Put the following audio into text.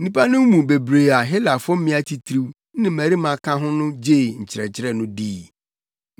Nnipa no mu bebree a Helafo mmea atitiriw ne mmarima ka ho no gyee nkyerɛkyerɛ no dii.